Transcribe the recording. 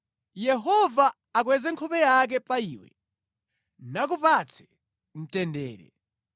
Yehova akweze nkhope yake pa iwe, nakupatse mtendere.’ ”